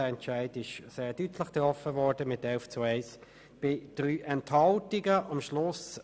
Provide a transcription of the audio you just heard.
Dieser Entscheid wurde sehr deutlich mit 11 zu 1 Stimme bei 3 Enthaltungen gefällt.